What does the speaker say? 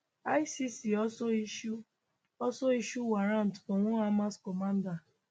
icc also issue also issue warrant for one hamas commander